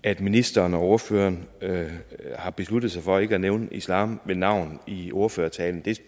at ministeren og ordføreren har besluttet sig for ikke at nævne islam ved navn i ordførertalen